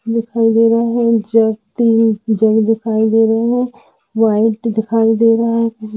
दिखाई दे रहा है जड तिन जड दिखई दे रहे है व्हाइट दिखाई दे रहा है।